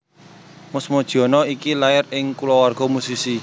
Mus Mujiono iki lair ing kulawarga musisi